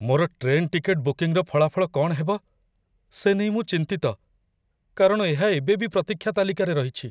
ମୋର train ticket ବୁକିଂର ଫଳାଫଳ କ'ଣ ହେବ, ସେ ନେଇ ମୁଁ ଚିନ୍ତିତ, କାରଣ ଏହା ଏବେ ବି ପ୍ରତୀକ୍ଷା ତାଲିକାରେ ରହିଛି।